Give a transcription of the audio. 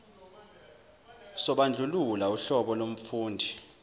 sobandlululo uhlobo lomfundi